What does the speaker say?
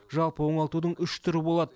жалпы оңалтудың үш түрі болады